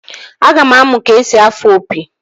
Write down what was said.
Aga m amụ ka-esi afụ opi